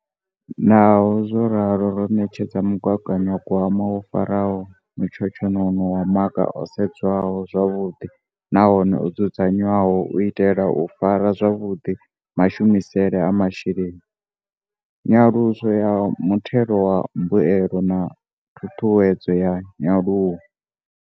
Naho zwo ralo, ro ṋetshedza mugaganyagwama wo faraho mutshotshonono wa maga o sedzwaho zwavhuḓi nahone o dzudzanyeaho u itela u fara zwavhuḓi mashumisele a masheleni, nyaluso ya muthelo wa mbuelo na ṱhuṱhuwedzo ya nyaluwo.